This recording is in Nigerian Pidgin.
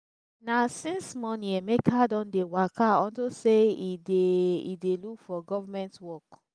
na since morning emeka don dey waka unto say he dey he dey look for government work